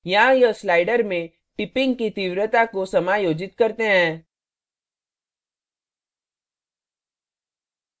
यहाँ यह slider में tipping की तीव्रता को समायोजित करते हैं